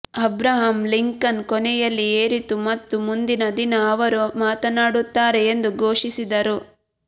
Abraham Lincoln ಕೊನೆಯಲ್ಲಿ ಏರಿತು ಮತ್ತು ಮುಂದಿನ ದಿನ ಅವರು ಮಾತನಾಡುತ್ತಾರೆ ಎಂದು ಘೋಷಿಸಿದರು